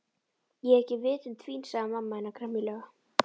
Ég er ekki vitund fín sagði mamma hennar gremjulega.